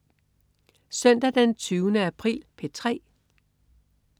Søndag den 20. april - P3: